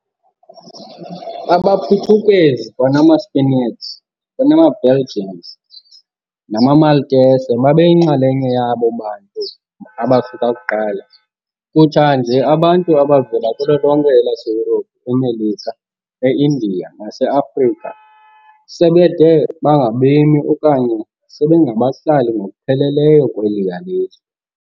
AbaPhuthukezi, kwanama-Spaniards, kwanee-Belgians nama-Maltese babeyinxalenye yabo bantu abafika kuqala, kutsha nje abantu abaninzi abavela kulo lonke elaseYurophu, eMelika, e-India naseAfrika sebede bangabemi okanye sebengabahlali ngokupheleleyo kweliya lizwe.